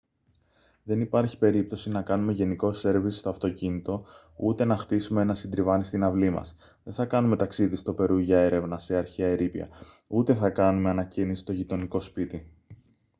δεν υπάρχει περίπτωση να κάνουμε γενικό σέρβις στο αυτοκίνητο ούτε να χτίσουμε ένα συντριβάνι στην αυλή μας δεν θα κάνουμε ταξίδι στο περού για έρευνα σε αρχαία ερείπια ούτε θα κάνουμε ανακαίνιση στο γειτονικό σπίτι